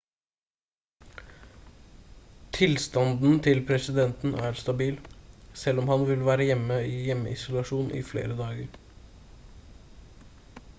tilstanden til presidenten er stabil selv om han vil være i hjemmeisolasjon i flere dager